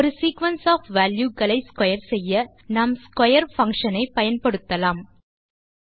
ஒரு sequence of valueகளை square செய்ய நாம் ஸ்க்வேர் பங்ஷன் ஐ பயன்படுத்தலாம்